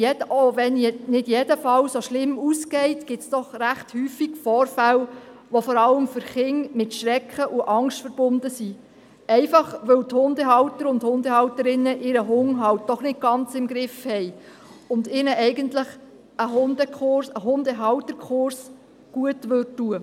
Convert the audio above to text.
Auch wenn nicht jeder Fall so schlimm ausgeht, gibt es doch recht häufig Vorfälle, die vor allem für Kinder mit Schrecken und Angst verbunden sind, einfach weil die Hundehalter und Hundehalterinnen ihren Hund halt doch nicht ganz im Griff haben und ihnen eigentlich ein Hundehalterkurs gut täte.